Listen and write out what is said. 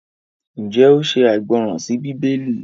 njé oò ṣe aìgbọràn sí Bíbélì?